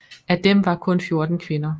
Af dem var kun 14 kvinder